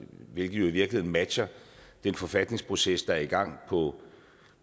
virkeligheden matcher den forfatningsproces der er i gang